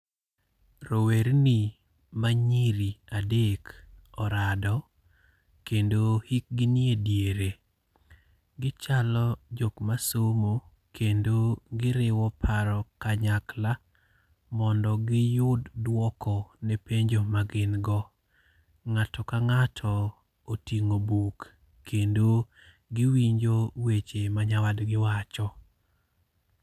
Rowerni manyiri adek orado. Kendo hikgi nie diere. Gichalo jok masomo kendo giriwo paro kanyakla mondo giyud dwoko ne penjo magin go. Ng'ato ka ng'ato oting'o buk kendo giwinjo weche ma nyawadgi wacho.